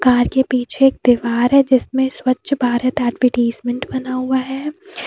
आगे-पीछे एक दीवार है जिसमें स्वच्छ भारत एडवटीसमेंट बना हुआ है।